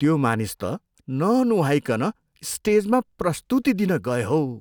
त्यो मानिस त ननुहाइकन स्टेजमा प्रस्तुति दिन गए हौ।